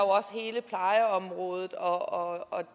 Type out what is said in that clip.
også hele plejeområdet og